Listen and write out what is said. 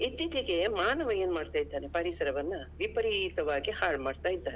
ಇತ್ತೀಚಿಗೆ ಮಾನವ ಏನ್ಮಾಡ್ತಿದ್ದಾನೆ ಅಂದ್ರೆ ವಿಪರೀತವಾಗಿ ಹಾಳ್ ಮಾಡ್ತಾಇದ್ದಾನೆ.